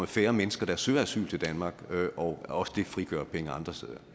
færre mennesker der søger asyl til danmark og at det også frigør penge andre steder